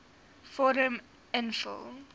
vorm invul